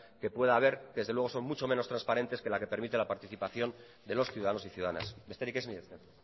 que pueda haber desde luego son mucho menos transparentes que la que permite la participación de los ciudadanos y ciudadanas besterik ez mila esker